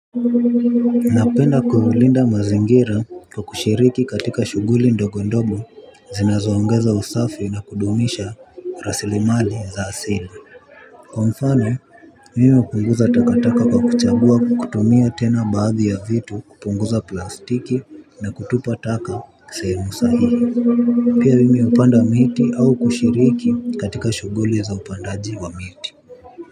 Napenda kuulinda mazingira kwa kushiriki katika shughuli ndogo ndogo zinazoongeza usafi na kudumisha rasilimali za asili. Kwa mfano mimi hupunguza takataka kwa kuchagua kutumia tena baadhi ya vitu kupunguza plastiki na kutupa taka sehemu sahihi. Pia mimi hupanda miti au kushiriki katika shughuli za upandaji wa miti.